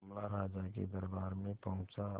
मामला राजा के दरबार में पहुंचा